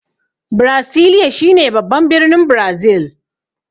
Brasilia shine babban birnin Brazil.